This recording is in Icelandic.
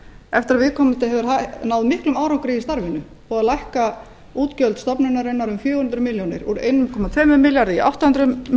eftir að viðkomandi hefur náð miklum árangri í starfinu búinn að lækka útgjöld stofnunarinnar um fjögur hundruð milljónir úr einum komma tvö milljarði í átta hundruð